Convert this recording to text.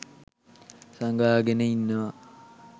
සඟවා ගෙන ඉන්නවා